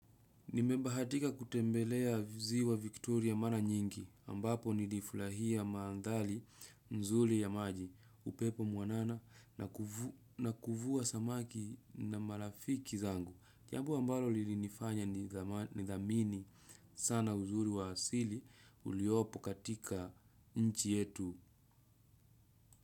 Nimemba hatika kutembelea ziwa Victoria mana nyingi, ambapo nilifulahia maandhali nzuli ya maji, upepo mwanana na kuvua samaki na marafiki zangu. Jambo ambalo lilinifanya nidhamini sana uzuri wa asili uliopo katika nchi yetu.